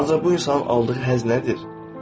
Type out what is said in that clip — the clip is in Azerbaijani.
Ancaq bu insanın aldığı həzz nədir?